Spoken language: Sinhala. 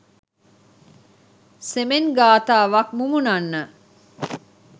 සෙමෙන් ගාථාවක් මුමුණන්න.